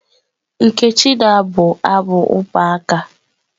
Nkechi na-abụ abụ ụmụaka.